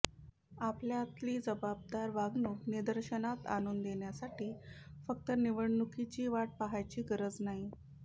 आपल्यातली जबाबदार वागणूक निदर्शनास आणून देण्यासाठी फक्त निवडणुकीची वाट पाहायची गरज नाही